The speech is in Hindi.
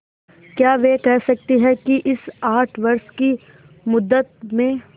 क्या वे कह सकती हैं कि इस आठ वर्ष की मुद्दत में